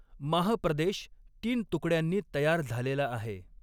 माह प्रदेश तीन तुकड्यांनी तयार झालेला आहे.